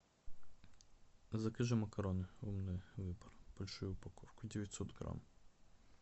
закажи макароны умный выбор большую упаковку девятьсот грамм